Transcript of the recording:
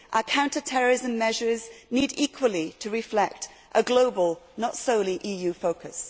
Counter terrorism measures need equally to reflect a global, not solely EU, focus.